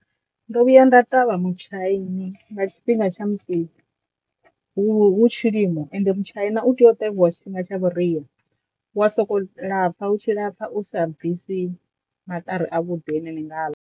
Ndo vhuya nda ṱavha mutshaini nga tshifhinga tsha musi hu tshilimo ende mutshaina u tea u tevhiwa tshifhinga tsha vhuria, wa soko lapfha hu tshi lapfa u sa bvisi maṱari a vhuḓi ane ni nga ḽa.